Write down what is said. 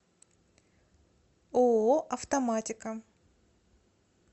ооо автоматика